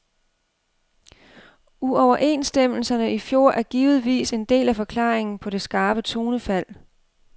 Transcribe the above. Uoverenstemmelserne i fjor er givetvis en del af forklaringen på det skarpe tonefald.